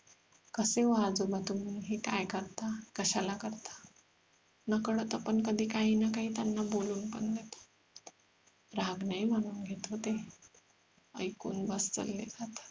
कसे हो आजोबा तुम्ही हे काय करता कशाला करता नकळत आपण कधी काही ना काही त्यांना बोलून पण देतो राग नाही मानून घेत हो ते ऐकून वात्सल्य खातात